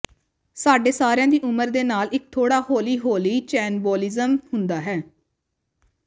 ਸਾਡੇ ਸਾਰਿਆਂ ਦੀ ਉਮਰ ਦੇ ਨਾਲ ਇੱਕ ਥੋੜ੍ਹਾ ਹੌਲੀ ਹੌਲੀ ਚੈਨਬੋਲਿਜ਼ਮ ਹੁੰਦਾ ਹੈ